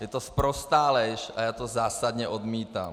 Je to sprostá lež a já to zásadně odmítám!